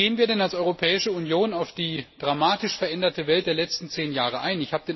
Wie gehen wir als Europäische Union denn auf die dramatisch veränderte Welt der letzten zehn Jahre ein?